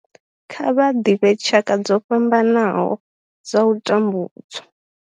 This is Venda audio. Kha vha ḓivhe tshaka dzo fhambanaho dza u tambudzwa.